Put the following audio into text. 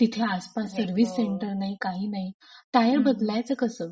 तिथे आसपास service centre नाही काही नाही. हो टायर बदलायच कस?